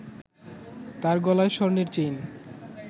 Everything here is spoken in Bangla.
তার গলায় স্বর্ণের চেইন